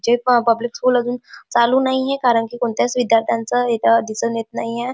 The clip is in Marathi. जे प पब्लिक स्कूल अजून चालू नाहीए कारण की कोणत्याच विद्यार्थ्यांच इथ दिसून येत नाहीए.